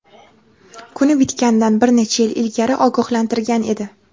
kuni bitganidan bir necha yil ilgari ogohlantirgan edi.